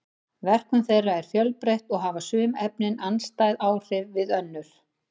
verkun þeirra er fjölbreytt og hafa sum efnin andstæð áhrif við önnur